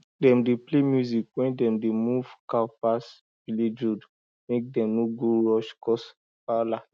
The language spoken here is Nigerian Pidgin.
dem dey play music when dem dey move cow pass village road mek dem no go rush cause wahala